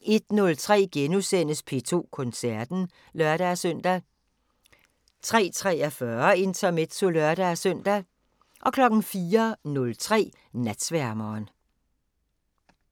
01:03: P2 Koncerten *(lør-søn) 03:43: Intermezzo (lør-søn) 04:03: Natsværmeren